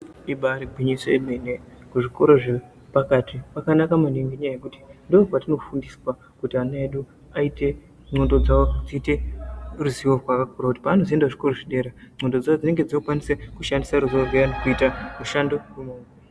Ibari gwinyiso yemene kuti kuzvikora zvepakati kwakanaka maningi ngenyaya yekuti ndokwatinoo fundiswa kuti ana edu aite ndxondo dzavo dziite ruzivo rwakakura kuti paanozoenda zvikoro zvedera ndxondo dzavo dzinenge dzokwanisa kushandisa rizivo rwuya kuita mishando.